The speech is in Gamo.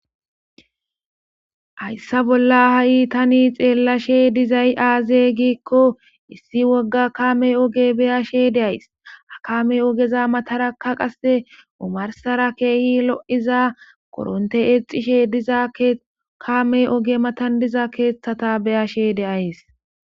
Hayssa bolla ha7i tani xeellashe dizay aaze giikko issi wogga kaame oge beyashe deays akame ogeza matarakka qasse omarsara keehi lo7iza koronte eexishe diza kame oge matandiza keeththata be7ahe de7ays.